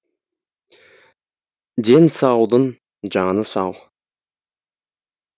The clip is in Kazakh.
дені саудың жаны сау